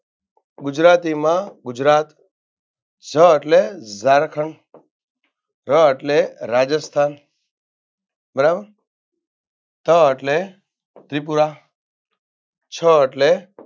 ગુજરાતીમાં ગુજરાત જ એટલે ઝારખંડ ર એટલે રાજસ્થાન બરાબર ત એટલે ત્રિપુરા છ એટલે